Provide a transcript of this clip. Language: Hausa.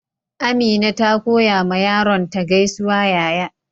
Amina ta koya ma yaron ta gaisuwa yaya.